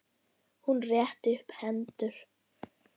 Hún rétti upp hendur.